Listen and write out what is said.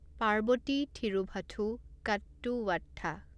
Parvati Thiruvothu Kottuvatta